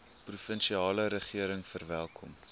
provinsiale regering verwelkom